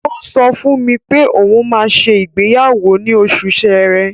Ó ń sọ fún mi pé òun máa ṣe ìgbéyàwó ní oṣù Ṣẹrẹ.